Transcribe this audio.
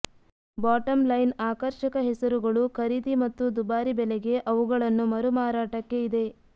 bottom line ಆಕರ್ಷಕ ಹೆಸರುಗಳು ಖರೀದಿ ಮತ್ತು ದುಬಾರಿ ಬೆಲೆಗೆ ಅವುಗಳನ್ನು ಮರುಮಾರಾಟಕ್ಕೆ ಇದೆ